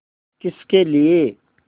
किसके लिए